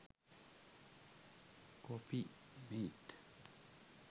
coffee mate